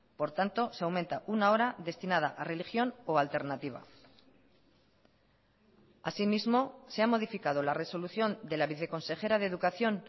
por tanto se aumenta una hora destinada a religión o a alternativa así mismo se ha modificado la resolución de la viceconsejera de educación